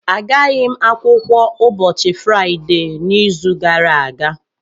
Agaghị m akwụkwọ ụbọchị Fraịde n'izu gara aga